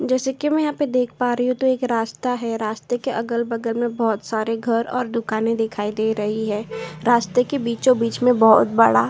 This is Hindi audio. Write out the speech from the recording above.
जैसे कि मैं यहां पर देख पा रही हूँ यहां पर रास्ता है रास्ते के अगल-बगल में बहुत सारे घर और दुकान दिखाई दे रहे हैं रास्ते के बीच में बहुत बड़ा --